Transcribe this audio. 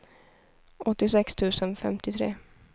åttiosex tusen femtiotre